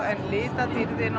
en litadýrðin